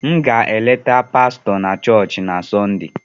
M ga-eleta pastọ na chọọchị na sonde